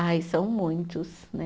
Ai, são muitos, né?